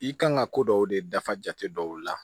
I kan ka ko dɔw de dafa jate dɔw la